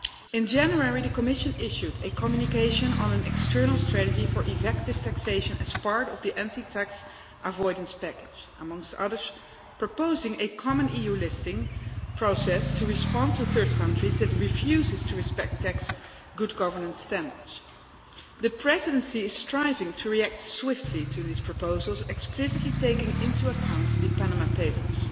In January the Commission issued a communication on an external strategy for effective taxation as part of the Anti Tax Avoidance Package, amongst other things proposing a common EU listing process to respond to third countries that refuse to respect tax good governance standards. The Presidency is striving to react swiftly to these proposals, explicitly taking into account the Panama Papers.